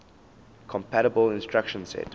compatible instruction set